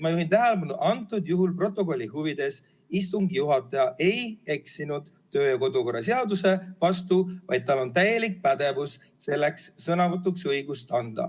Nii et ma juhin protokolli huvides tähelepanu, et istungi juhataja ei eksinud kodu- ja töökorra seaduse vastu, vaid tal on täielik pädevus anda luba selliseks sõnavõtuks.